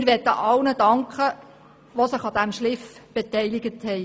Wir möchten allen danken, die sich an diesem Schliff beteiligt haben.